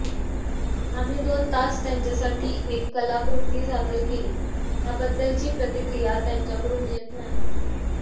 आम्ही दोन तास त्यांच्यासाठी एक कलाकृती सादर केली त्याबद्दलची प्रतिक्रिया त्यांच्याकडून येत नाही